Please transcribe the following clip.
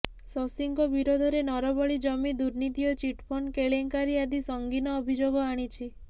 ଶଶୀଙ୍କ ବିରୋଧରେ ନରବଳି ଜମି ଦୁର୍ନୀତି ଓ ଚିଟଫଣ୍ଡ କେଳେଙ୍କାରୀ ଆଦି ସଂଗୀନ ଅଭିଯୋଗ ଆଣିଛି